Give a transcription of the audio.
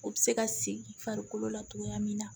O bɛ se ka segin farikolo la cogoya min na